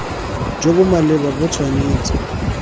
jo bo maleba bo tshwanetse